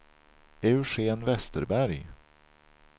Eugen Vesterberg